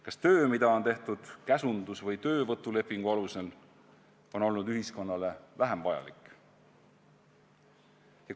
Kas töö, mida on tehtud käsundus- või töövõtulepingu alusel, on olnud ühiskonnale vähem vajalik?